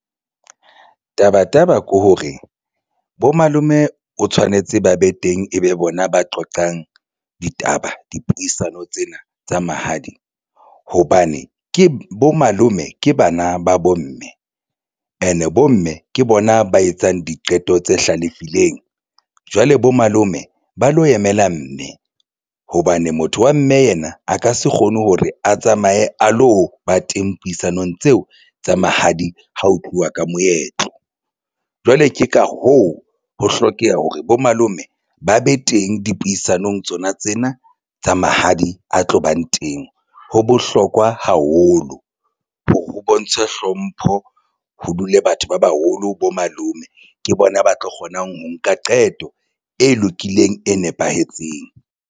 Taba taba ke hore bo malome o tshwanetse ba be teng ebe bona ba qoqang ditaba dipuisano tsena tsa mahadi hobane ke bo malome ke bana ba bomme and bomme ke bona ba etsang diqeto tse hlalefileng. Jwale bo malome ba lo emela mme hobane motho wa mme yena a ka se kgone hore a tsamaye a lo ba teng puisanong tseo tsa mahadi ha ho tluwa ka moetlo jwale ke ka hoo, ho hlokeha hore bo malome ba be teng dipuisanong tsona tsena tsa mahadi a tlo bang teng. Ho bohlokwa haholo lo hore ho bontshe hlompho, ho dule batho ba baholo bo malome, ke bona ba tlo kgonang ho nka qeto e lokileng, e nepahetseng.